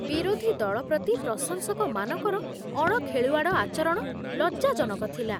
ବିରୋଧୀ ଦଳ ପ୍ରତି ପ୍ରଶଂସକମାନଙ୍କର ଅଣଖେଳୁଆଡ଼ ଆଚରଣ ଲଜ୍ଜାଜନକ ଥିଲା।